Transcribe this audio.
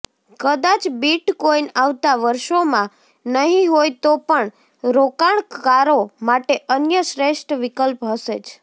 કદાચ બીટકોઈન આવતા વર્ષોમાં નહીં હોય તો પણ રોકાણકારો માટે અન્ય શ્રેષ્ઠ વિકલ્પ હશે જ